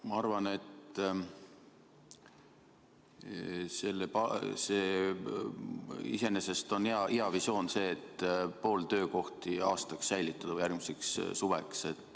Ma arvan, et see on iseenesest hea visioon, et pooled töökohad võiks aastaks või kuni järgmise suveni säilitada.